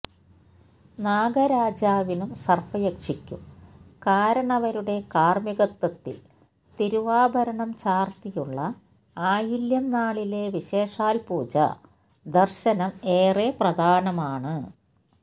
നാഗരാജാവിനും സര്പ്പയക്ഷിക്കും കാരണവരുടെ കാര്മ്മികത്വത്തില് തിരുവാഭരണം ചാര്ത്തിയുള്ള ആയില്യം നാളിലെ വിശേഷാല് പൂജ ദര്ശനം ഏറെ പ്രധാനമാണ്